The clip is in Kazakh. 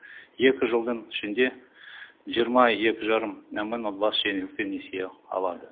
екі жылдың ішінде жиырма екі жарым мың отбасы жеңілдікпен несие алады